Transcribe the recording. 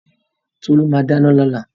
Tolú ma dáná lọ́la.